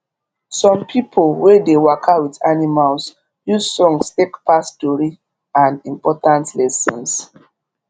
some pipo wey dey waka with animals use songs take pass tori and important lessons